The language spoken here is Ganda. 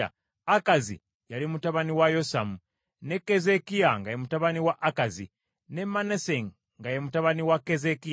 Akazi yali mutabani wa Yosamu, ne Keezeekiya nga ye mutabani wa Akazi, ne Manase nga ye mutabani wa Keezeekiya.